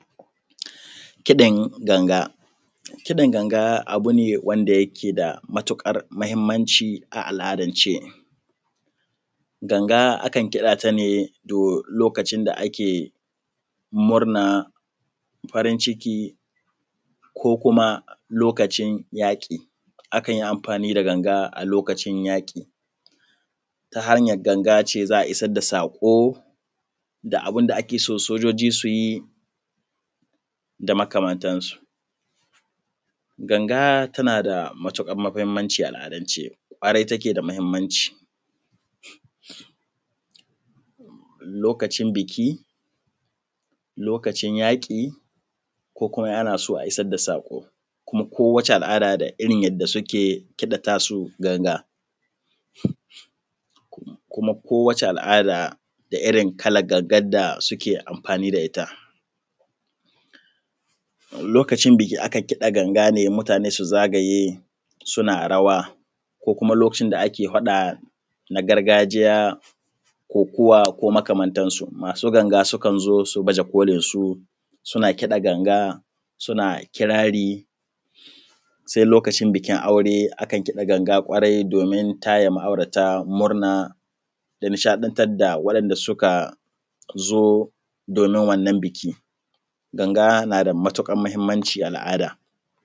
kiɗin ganga kiɗin ganga abu ne wanda yake da matuƙar muhimmanci a al’adance ganga akan kiɗa ta ne lokacin da ake murna farin ciki ko kuma lokacin yaƙi akan yi amfani da ganga lokacin yaƙi ta hanyar ganga ce za a isar da saƙo da abin da ake son sojoji su yi da makamantansu ganga tana da matuƙar muhimmanci a al’adance ƙwarai take da muhimmanci lokacin buki lokacin yaƙi ko kuma in ana so a isar da saƙo kuma kowace al’ada da irin yadda suke kiɗa tasu gangar kuma kowace al’ada da irin kalan gangar da suke amfani da ita lokacin buki akan kiɗa ganga ne mutane su zagaye suna rawa ko kuma lokacin da ake faɗa na gargajiya kokuwa ko kuma makamantansu masu ganga sukan zo su baje kolinsu suna kiɗa ganga suna kirari sai lokacin bukin aure akan kiɗa ganga ƙwarai domin taya ma’aurata murna da nishaɗantar da waɗanda suka zo domin wannan buki ganga na da matuƙar muhimmanci a al’ada